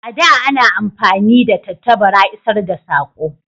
A da a na amfani da tattabara isar da sako